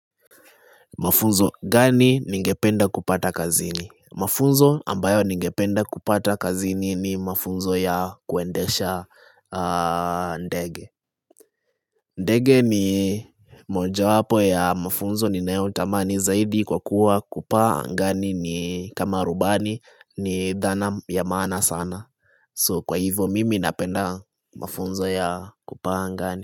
Mafunzo gani ningependa kupata kazini. Mafunzo ambayo ningependa kupata kazini ni mafunzo ya kuendesha ndege ndege ni mojawapo ya mafunzo ni nayotamani zaidi kwa kuwa kupaa angani ni kama rubani ni dhana ya maana sana. So kwa hivyo mimi napenda mafunzo ya kupaa angani.